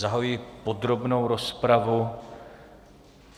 Zahajuji podrobnou rozpravu.